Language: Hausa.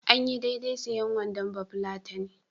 Anyi daidai sayen wandon bafulatani.